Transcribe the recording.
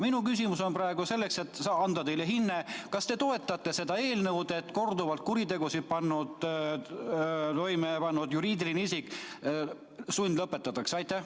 Minu küsimus on selleks, et anda teile hinne: kas te toetate seda eelnõu, mille järgi korduvalt kuritegusid toime pannud juriidiline isik sundlõpetatakse?